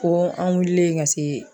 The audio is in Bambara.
Ko an wulilen ka se.